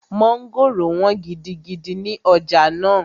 Mọ́ngòrò wọ́n gidigidi ní ọjà náà